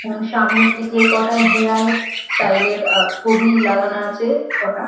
এবং সামনের দিকে কটা হেয়ার স্টাইল এর ছবি লাগানো আছে কটা।